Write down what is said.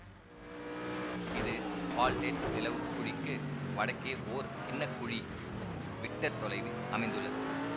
இது பால்டெட் நிலவுக்குழிக்கு வடக்கே ஓர் கிண்ண குழி விட்ட தொலைவில் அமைந்துள்ளது